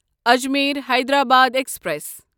Ajmer Hyderabad express